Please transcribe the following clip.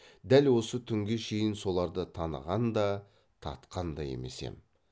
дәл осы түнге шейін соларды таныған да татқан да емес ем